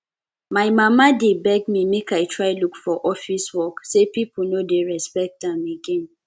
my mama dey beg me make i try look for office work say people no dey respect am again